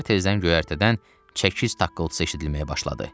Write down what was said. Səhər tezdən göyərtədən çəkiş takkıltısı eşidilməyə başladı.